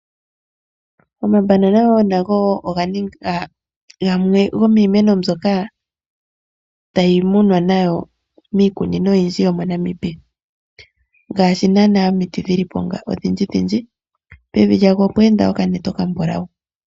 Omabanana nago oganinga gamwe gomimeno mboka tayi munwa miikunino oyindjimoNamibia ngaashi nana omiti dhilipo odhindjidhindji pevi lyawo opwa enda okanete okambulawu.